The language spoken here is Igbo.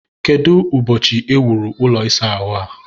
kedu ụbọchị e wuru ụlọ ịsa ahụ a?